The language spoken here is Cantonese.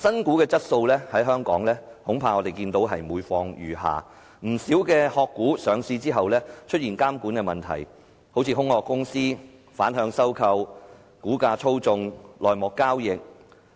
我們看到香港的新股質素恐怕是每況愈下，不少"殼股"上市之後出現監管的問題，好像空殼公司、反向收購、股價操縱、內幕交易。